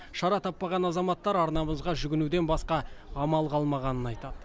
шара таппаған азаматтар арнамызға жүгінуден басқа амал қалмағанын айтады